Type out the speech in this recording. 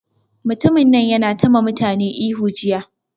Mutumin nan yana ta ma mutane ihu jiya